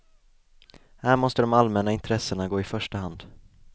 Här måste de allmänna intressena gå i första hand.